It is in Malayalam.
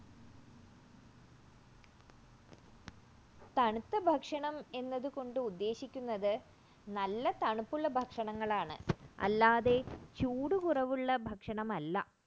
തണുത്ത ഭക്ഷണം എന്നതുകൊണ്ട് ഉദ്ദേശിക്കുന്നത് നല്ല തണുപ്പുള്ള ഭക്ഷണങ്ങൾ ആണ് അല്ലാതെ ചൂട് കുറവുള്ള ഭക്ഷണഠ അല്ല